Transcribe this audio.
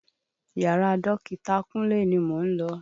Yàrá dọkita kúnlé ni mò ń lọ.